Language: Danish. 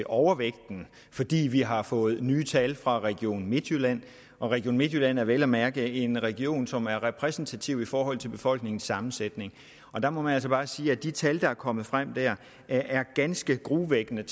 overvægt fordi vi har fået nye tal fra region midtjylland region midtjylland som vel at mærke er en region som er repræsentativ i forhold til befolkningens sammensætning der må man altså bare sige at de tal der er kommet frem der er ganske gruopvækkende